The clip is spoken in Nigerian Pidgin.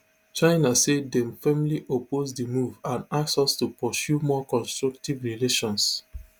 china say dem firmly oppose di move and ask us to pursue more constructive relations